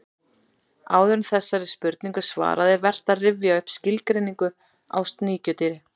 Áður en þessari spurningu er svarað er vert að rifja upp skilgreiningu á sníkjudýri.